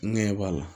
Ngeɲɛ b'a la